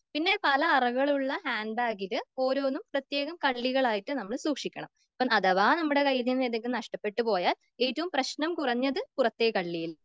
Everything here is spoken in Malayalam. പിന്നെ പല അറകളുള്ള ഹാൻഡ്ബാഗില് ഓരോന്നും പ്രത്യേകം കള്ളികളായിട്ട് സൂക്ഷിക്കണം.എപ്പോ അഥവാ നമ്മുടെ കയ്യിൽ നിന്നും എന്തെങ്കിലും നഷ്ട്ടപ്പെട്ട് പോയാൽ ഏറ്റവും പ്രശ്നം കുറഞ്ഞത് പുറത്തെ കള്ളിയിൽ.